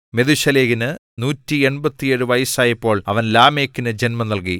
മെഥൂശലഹിന് 187 വയസ്സായപ്പോൾ അവൻ ലാമെക്കിനു ജന്മം നൽകി